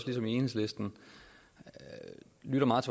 ligesom enhedslisten lytter meget